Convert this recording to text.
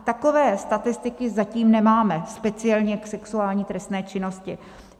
Takové statistiky zatím nemáme, speciálně k sexuální trestné činnosti.